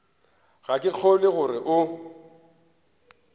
ga ke kgolwe gore o